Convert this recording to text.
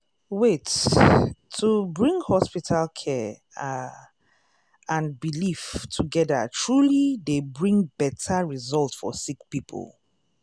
wait- to bring hospital care ah and belief togeda truely dey bring beta result for sick poeple.